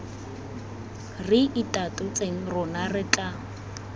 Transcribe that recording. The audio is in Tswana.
re itatotseng rona re tla